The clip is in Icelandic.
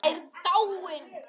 Mamma er dáin.